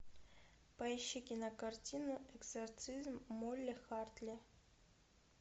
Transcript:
поищи кинокартину экзорцизм молли хартли